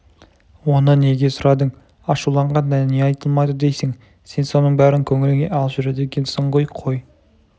оны неге сұрадың ашуланғанда не айтылмайды дейсің сен соның бәрін көңіліңе алып жүреді екенсің ғой қой